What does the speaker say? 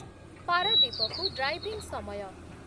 ପାରାଦୀପକୁ driving ସମୟ